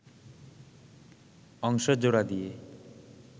অংশ জোড়া দিয়ে